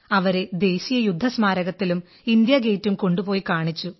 അവരെ ദേശീയ യുദ്ധ സ്മാരകത്തിലും ഇന്ത്യാ ഗേറ്റും കൊണ്ടുപേയി കാണിച്ചു